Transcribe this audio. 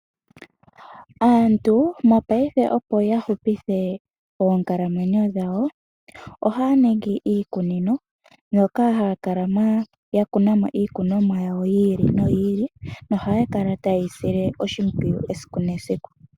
Aantu mopaife opo yahupithe oonkalamwenyo dhawo ohaya ningi iikunino moka haya kala ya kuna mo iikunomwa yawo yi ili noyi ili nohaya kala ta ye yi sile oshimpwiyu esiku nesiku.